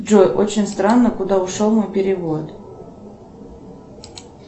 джой очень странно куда ушел мой перевод